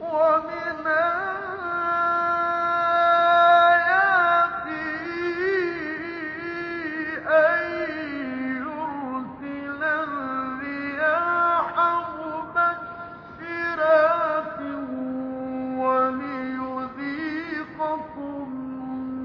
وَمِنْ آيَاتِهِ أَن يُرْسِلَ الرِّيَاحَ مُبَشِّرَاتٍ وَلِيُذِيقَكُم